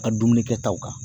Ka dumuni kɛtaw kan.